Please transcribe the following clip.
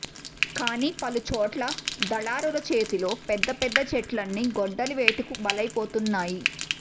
కానీ పలు చోట్ల దళారుల చేతిలో పెద్ద పెద్ద చెట్లన్నీ గొడ్డలి వేటుకు బలైపోతున్నాయి